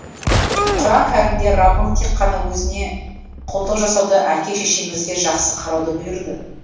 құран кәрімде раббың тек қана өзіне құлдық жасауды әке шешеңізге жақсы қарауды бұйырды